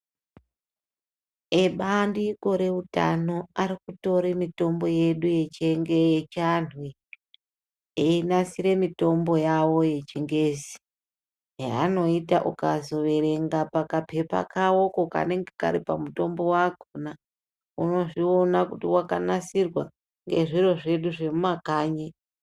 Ebandiko re utano ari kutore mitombo yedu yechi antu iyi eyi nasire mitombo yawo ye chingezi ya anoita ukazo verenga paka pepa kawoko kanenge kari pa mutombo wakona uno zviona kuti waka nasirwa nge zviro zvedu zvemu makanyi.